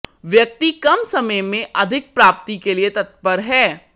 व्यक्ति कम समय मे अधिक प्राप्ति के लिए तत्पर है